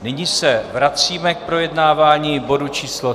Nyní se vracíme k projednávání bodu číslo